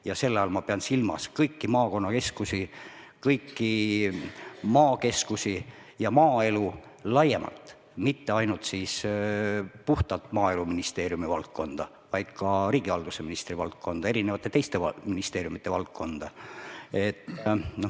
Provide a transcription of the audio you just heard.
Ja selle all ma pean silmas kõiki maakonnakeskusi, kõiki maakeskusi ja maaelu laiemalt, mitte ainult puhtalt Maaeluministeeriumi valdkonda, vaid ka riigihalduse ministri valdkonda, teiste ministeeriumide valdkonda.